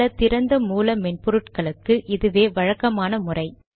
பல திறந்த மூல மென்பொருட்களுக்கு இதுவே வழக்கமான முறை